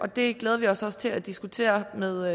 det glæder vi os også til at diskutere med